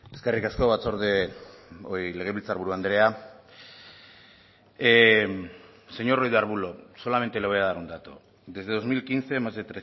eskerrik asko batzorde legebiltzarburu andrea señor ruiz de arbulo solamente le voy a dar un dato desde dos mil quince más de